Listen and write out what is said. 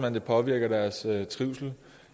at det påvirker deres trivsel